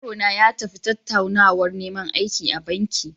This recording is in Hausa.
Yarona ya tafi tattaunawar neman aiki a banki.